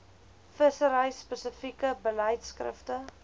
vissery spesifieke beleidskrifte